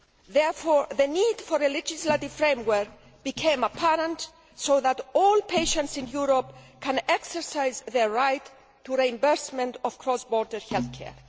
Therefore, the need for a legislative framework became apparent, so that all patients in Europe can exercise their right to reimbursement of cross border health care.